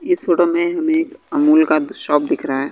इस फोटो में हमे अमूल का दु शॉप दिख रहा है।